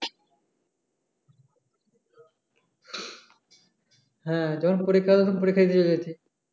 হ্যাঁ যখন পরীক্ষা হবে পরীক্ষা দিয়ে চলে যেতিস